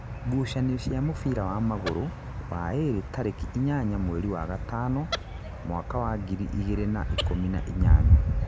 ngucanio cia mubira wa magũrũ, waĩrĩ tarĩki inyanya mweri wa gatano mwaka wa ngiri igĩrĩ na ikũmi na inyanya.